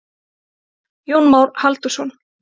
Jón Már Halldórsson.